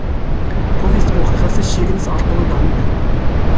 повесть оқиғасы шегініс арқылы дамиды